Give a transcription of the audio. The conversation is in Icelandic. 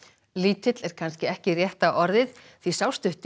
lítill er kannski ekki rétta orðið því sá stutti